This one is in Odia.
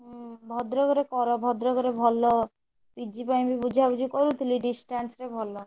ହୁଁ ଭଦ୍ରକରେ କର ଭଦ୍ରକରେ ଭଲ PG ପାଇଁବି ବୁଝାବୁଝି କରୁଥିଲି distance ରେ ଭଲ।